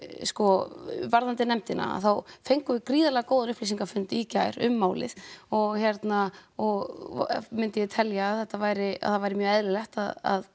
sko varðandi nefndina þá fengum við gríðarlega góðan upplýsingafund í gær um málið og hérna og myndi ég telja að þetta væri að það væri mjög eðlilegt að